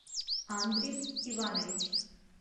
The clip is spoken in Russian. андрис иванович